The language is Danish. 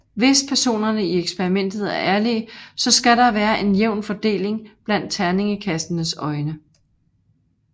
Hvis personerne i eksperimentet er ærlige så skal der være en jævn fordeling blandt terningekastenes øjne